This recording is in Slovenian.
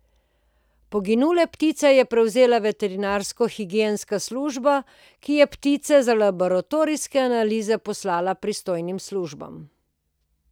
Poginule ptice je prevzela veterinarsko higienska služba, ki je ptice za laboratorijske analize poslala pristojnim službam.